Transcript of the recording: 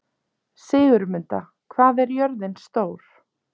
Sigurmunda, hvað er jörðin stór?